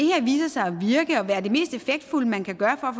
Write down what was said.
viser sig at virke og være det mest effektfulde man kan gøre for